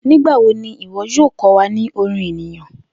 Nigbawo ni iwọ yoo kọ wa ni orin eniyan?